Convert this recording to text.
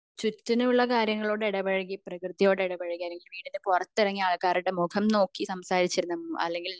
ചുറ്റിനും ഉള്ള കാര്യങ്ങളോട് ഇടപഴകി പ്രകൃതിയോട് ഇടപഴകി അല്ലെങ്കിൽ വീടിനു പുറത്തു ഇറങ്ങി ആൾക്കാരോട് മുഖം നോക്കി സംസാരിച്ചിരുന്ന അല്ലെങ്കിൽ